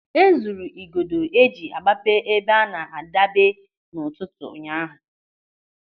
E zuru igodo eji agbape ebe a na-adebe n'ụtụtụ ụnyaahụ.